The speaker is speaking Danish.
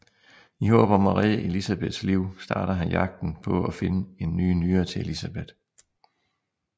I håb om at redde Elisabeths liv starter han jagten på at finde en ny nyre til Elisabeth